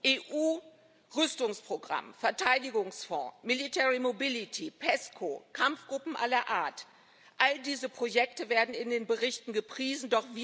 EU Rüstungsprogramm, Verteidigungsfonds, military mobility PESCO, Kampfgruppen aller Art all diese Projekte werden in den Berichten gepriesen.